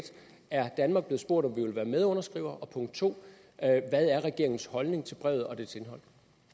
er danmark blevet spurgt om vi vil være medunderskrivere og punkt to hvad er regeringens holdning til brevet og dets indhold